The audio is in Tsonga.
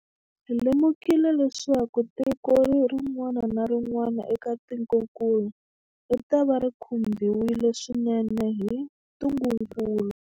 Hi lemukile leswaku tiko rin'wana na rin'wana eka tikokulu ritava ri khumbiwile swinene hi ntungukulu.